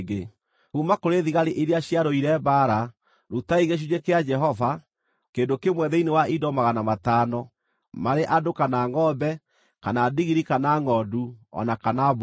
Kuuma kũrĩ thigari iria ciarũire mbaara, rutai gĩcunjĩ kĩa Jehova, kĩndũ kĩmwe thĩinĩ wa indo magana matano, marĩ andũ, kana ngʼombe, kana ndigiri, kana ngʼondu, o na kana mbũri.